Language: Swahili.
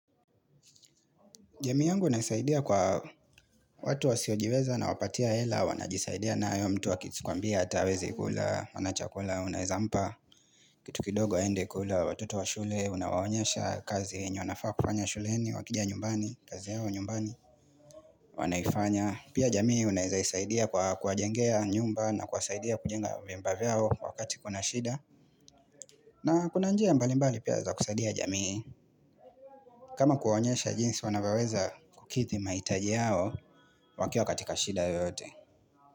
Jamii yangu inasaidia kwa watu wasiojiweza inawapatia hela, wanajisaidia nayo mtu akikwambia, hatawezi kula, hana chakula, unaezampa, kitu kidogo aende kula, watoto wa shule, unawaonyesha kazi yenye, wanafaa kufanya shuleni, wakija nyumbani, kazi yao nyumbani, wanaifanya. Pia jamii unaeza isaidia kwa kuwajengea nyumba na kuwasaidia kujenga vyumba vyao wakati kuna shida na kuna njia mbalimbali pia za kusaidia jamii kama kuwaonyesha jinsi wanavyoweza kukidhi mahitaji yao wakiwa katika shida yoyote.